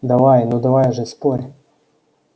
давай ну давай же спорь